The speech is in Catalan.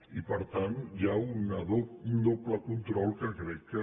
i per tant hi ha un doble control que crec que